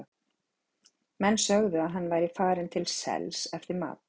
Menn sögðu að hann væri farinn til sels eftir mat.